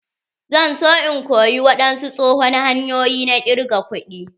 Zan zo in koya wadansu tsohon hanyoyi na ƙirga kuɗi.